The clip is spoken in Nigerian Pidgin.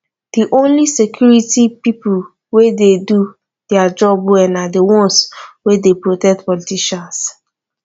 the only security people wey dey do dia job well na the ones wey dey protect politicians